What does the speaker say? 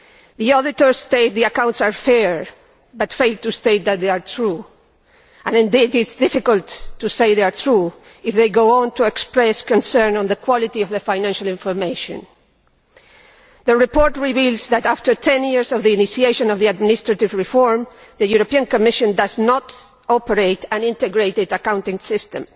The auditors state that the accounts are fair but fail to state that they are true, and indeed it is difficult to say they are true if they go on to express concern about the quality of the financial information. The report reveals that, 10 years after the initiation of the administrative reform, the European Commission does not operate an integrated accounting system,